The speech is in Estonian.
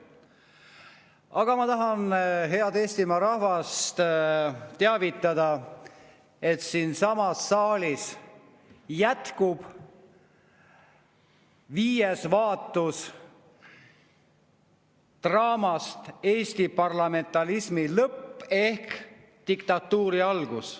Aga ma tahan head Eestimaa rahvast teavitada, et siinsamas saalis jätkub viies vaatus draamast "Eesti parlamentarismi lõpp ehk Diktatuuri algus".